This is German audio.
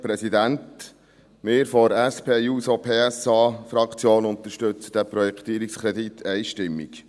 Wir von der SP-JUSO-PSA-Fraktion unterstützen diesen Projektierungskredit einstimmig.